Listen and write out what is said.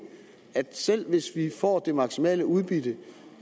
at selv hvis vi får det maksimale udbytte